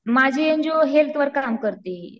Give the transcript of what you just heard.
माझी एनजीओ हेल्थवर काम करते.